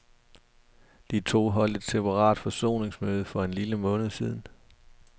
De to holdt et separat forsoningsmøde for en lille måned siden.